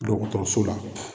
Dɔgɔtɔrɔso la.